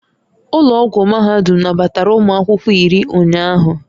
Ụlọ ọgwụ mahadum nabatara ụmụ akwụkwọ iri ụnyaahụ